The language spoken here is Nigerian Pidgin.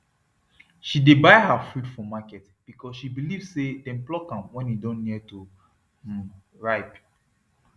she dey buy her fruit for market because she believe say dem pluck am when e don near to um ripe